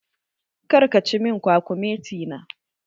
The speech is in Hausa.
Kar ka ci min kwakumeti na!